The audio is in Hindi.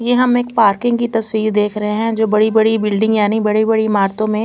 ये हम एक पार्किंग की तस्वीर देख रहे हैं जो बड़ी बड़ी बिल्डिंग यानी बड़ी बड़ी इमारतो में--